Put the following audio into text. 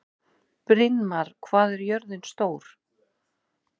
Brynmar, hvað er jörðin stór?